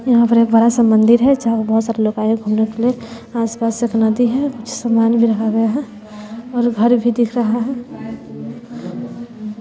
यहां पर एक बड़ा सा मंदिर है जहां पे बहोत सारे लोग आए हैं घूमने फिरने आस पास एक नदी है कुछ सामान भी रखा गया है और घर भी दिख रहा है।